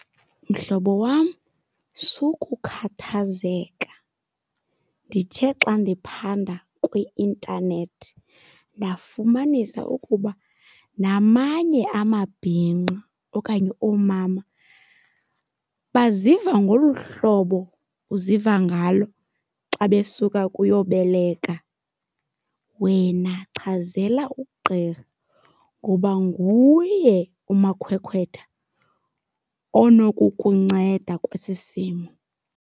Mhlobo wam, sukukhathazeka. Ndithe xa ndiphanda kwi-intanethi ndafumanisa ukuba namanye amabhinqa okanye oomama baziva ngolu hlobo uziva ngalo xa besuka kuyoboleka. Wena chazela ugqirha ngoba nguye umakhwekhwetha onokukunceda kwesi simo.